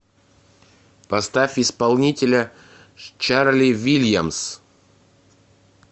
поставь исполнителя чарли вильямс